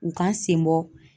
U k'a senbɔ.